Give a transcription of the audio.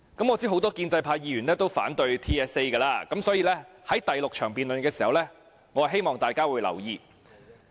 我知道很多建制派議員均反對 TSA， 所以在第6項辯論時，我希望大家會留意。